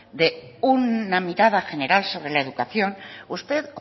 de una mirada general sobre la educación usted